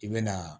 I bɛ na